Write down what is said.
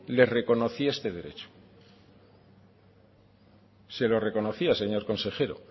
les reconocía este derecho se lo reconocía señor consejero